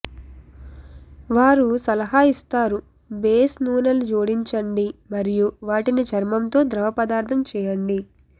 వారు సలహా ఇస్తారు బేస్ నూనెలు జోడించండి మరియు వాటిని చర్మంతో ద్రవపదార్థం చేయండి